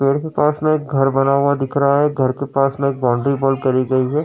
पेड़ के पास में एक घर बना हुआ दिख रहा है। घर के पास में एक बौंडरी वॉल करी गई है।